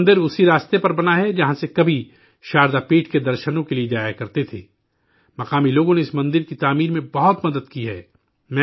یہ مندر اسی راستے پر بنا ہے، جہاں سے کبھی شاردا پیٹھ کے درشنوں کے لیے جایا کرتے تھے مقامی لوگوں نے اس مندر کی تعمیر میں بہت مدد کی ہے